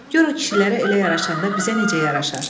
Gör o kişilərə elə yaraşanda bizə necə yaraşar?